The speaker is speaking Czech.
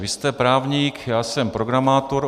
Vy jste právník, já jsem programátor.